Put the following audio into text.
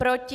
Proti?